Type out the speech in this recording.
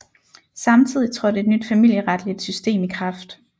Samtidigt trådte et nyt familieretligt system i kraft